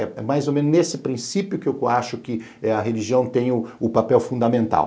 É mais ou menos nesse princípio que eu acho que a religião tem o papel fundamental.